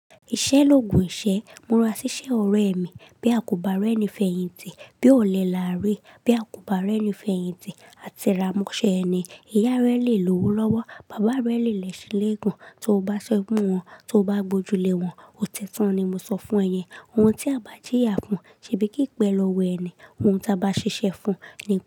Ìṣẹ́ l'ògùn ìṣẹ́. Mura ṣiṣẹ́ ọrẹ mi. Bí a kò bá rẹ́ni fẹ̀yìntì, bí o lẹ làárí, bí a kò bá rẹ́ni fẹ̀yìntì, atẹra mọ́ṣẹ́ ẹni. Ìyá rẹ lè lowo lọ́wọ́, bàbá rẹ lè lẹ̀ṣin léègun. Tó bá ṣẹ́wọ̀n, tó bá gbojule wọn. Ó tẹ́tán ni mo sọ fún ẹ yẹn. Ohun tí a bá jíyà fún, ṣe bí kípé lọ́wọ́ ẹni. Ohun tí a bá ṣiṣẹ́ fún, ni.